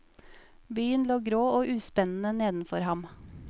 Byen lå grå og uspennende nedenfor ham.